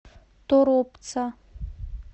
торопца